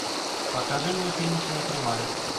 покажи мне финишная прямая